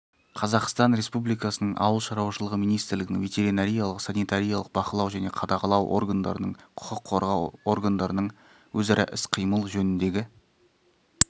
қазақстан республикасы ауыл шаруашылығы министрлігінің ветеринариялық-санитариялық бақылау және қадағалау органдарының құқық қорғау органдарының өзара іс-қимыл жөніндегі